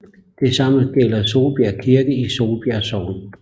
Det samme gælder Solbjerg Kirke i Solbjerg Sogn